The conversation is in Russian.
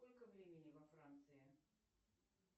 сколько времени во франции